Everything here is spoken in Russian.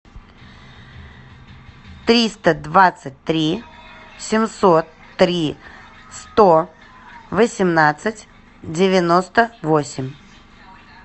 триста двадцать три семьсот три сто восемнадцать девяносто восемь